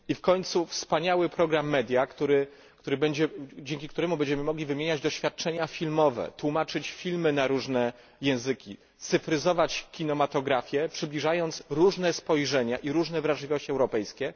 I w końcu wspaniały program Media, dzięki któremu będziemy mogli wymieniać doświadczenia filmowe, tłumaczyć filmy na różne języki, cyfryzować kinematografię, przybliżając różne spojrzenia i różne wrażliwości europejskie.